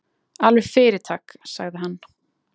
Alveg fyrirtak, sagði hann.